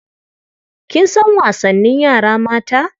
Kin san wasannin yara mata?